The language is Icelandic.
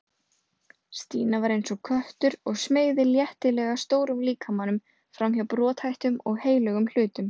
Stína var eins og köttur og smeygði léttilega stórum líkamanum framhjá brothættum og heilögum hlutum.